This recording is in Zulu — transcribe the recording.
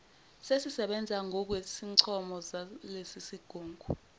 sesisebenza ngokwezincomo zalesisigungu